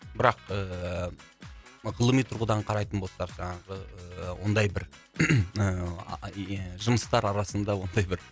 бірақ ыыы ғылыми тұрғыдан қарайтын болсақ жаңағы ондай бір ыыы не жұмыстар арасында ондай бір